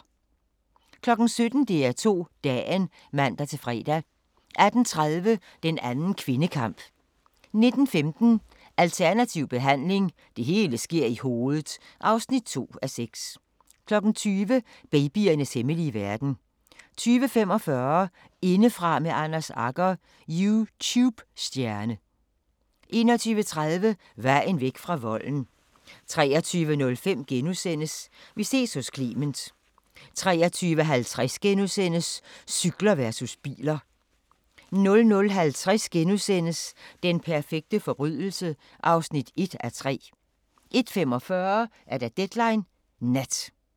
17:00: DR2 Dagen (man-fre) 18:30: Den anden kvindekamp 19:15: Alternativ behandling – Det hele sker i hovedet (2:6) 20:00: Babyernes hemmelige verden 20:45: Indefra med Anders Agger – YouTube-stjerne 21:30: Vejen væk fra volden 23:05: Vi ses hos Clement * 23:50: Cykler versus biler * 00:50: Den perfekte forbrydelse (1:3) 01:45: Deadline Nat